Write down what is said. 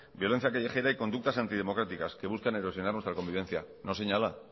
violencia callejera y conductas antidemocráticas que buscan erosionar nuestra convivencia no señala